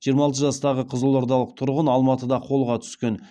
жиырма алты жастағы қызылордалық тұрғын алматыда қолға түскен